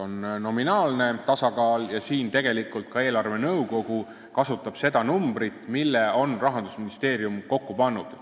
On nominaalne tasakaal, mille puhul tegelikult ka eelarvenõukogu kasutab seda numbrit, mille on Rahandusministeerium kokku pannud.